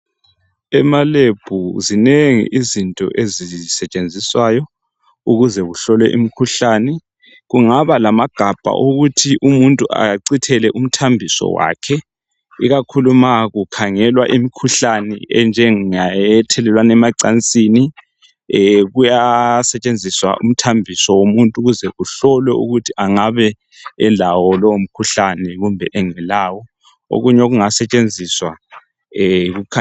ema Lab zinengi izinto ezisetshenziswayo ukuze kuhlolwe imikhuhlane kungaba lamagabha okuthi umuntu achithele umthambiso wakhe ikakhulu nxa kukhangelwa imkhuhlane enjenge ethelelwana emacansini kuyasetshenziswa umthambiso womuntu ukuze kuhlolwe ukuthi angabe elawo lowo mkhuhlane loba engelawo okunye okungasetshenziswa yikukhangela